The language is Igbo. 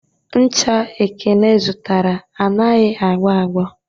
Ncha Ekene zụtara anaghị a gbọ agbọ